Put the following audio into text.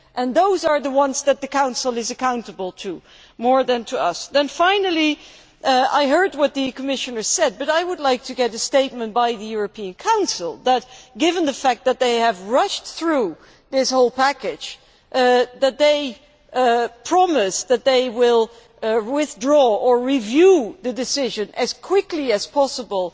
Those are the ones that the Council is accountable to, more than to us. Finally, I heard what the Commissioner said, but I would like to have a statement from the European Council promising given that they have rushed through this whole package that they will withdraw or review the decision as quickly as possible,